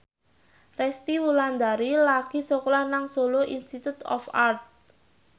Resty Wulandari lagi sekolah nang Solo Institute of Art